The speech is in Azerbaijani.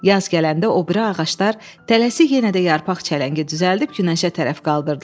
Yaz gələndə o biri ağaclar tələsi yenə də yarpaq çələngi düzəldib günəşə tərəf qaldırdılar.